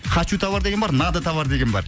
хочу товар деген бар надо товар деген бар